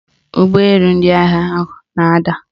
Ụgbọelu ndị agha ahụ na-ada